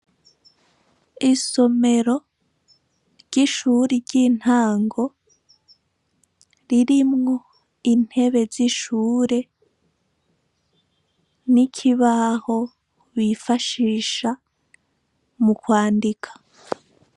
Isomero ry'ishure ry'intango ririmwo intebe z'ishure n'ikibaho bifashisha mu kwandika.